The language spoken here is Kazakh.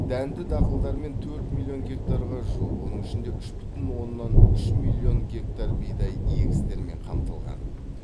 дәнді дақылдармен төрт миллион гектарға жуық оның ішінде үш бүтін оннан үш миллион гектар бидай егістерімен қамтылған